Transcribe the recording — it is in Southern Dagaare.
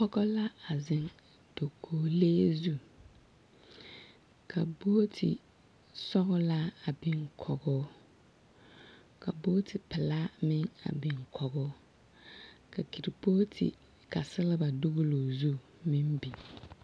Pɔgɔ la a zeŋ dakolee zu. Ka bogoti sɔglaa a biŋ kogoo. Ka bogti pelaa meŋ a biŋ kogoo. Ka ketepɔlte ka selba dolaa o zu meŋ biŋ.